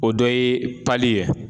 O dɔ ye ye